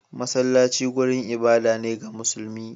Masallaci wurin ibada ne ga musulmi.